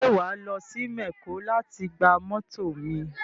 Ṣé wà á lọ sí mẹ̀kó láti gba mọ́tọ̀ mi